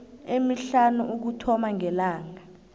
emihlanu ukuthoma ngelanga